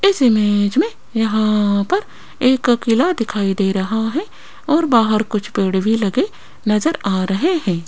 इस इमेज में यहां पर एक किला दिखाई दे रहा है और बाहर कुछ पेड़ भी लगे नजर आ रहे हैं।